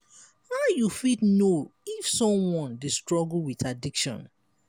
how you fit know if someone dey struggle with addiction?